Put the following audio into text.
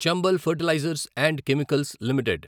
Chambal fertilisers and chemicals limited